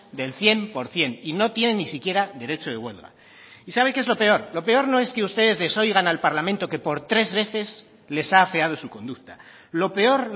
del cien por ciento y no tienen ni siquiera derecho de huelga y sabe qué es lo peor lo peor no es que ustedes desoigan al parlamento que por tres veces les ha afeado su conducta lo peor